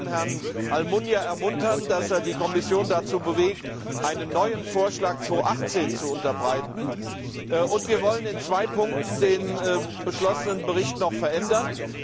Wir wollen Herrn Almunia ermuntern, dass er die Kommission dazu bewegt, einen neuen Vorschlag 2018 zu unterbreiten, und wir wollen in zwei Punkten den beschlossenen Bericht noch verändern.